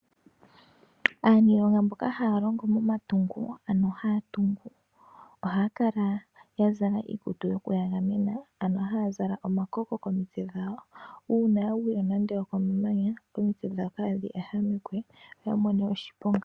Aaniilonga mboka haya longo momatungo ano haya tungu ohaya kala yazala iikutu yoku yagamena ano haya zala omakoko komitse dhawo. Uuna yagwile nande okemanya omitse dhawo kaadhi ehamekwe yo yamone oshiponga.